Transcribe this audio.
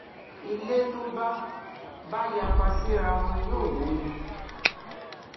ilé tó bá bá yapa síraa wọn yóò wó ni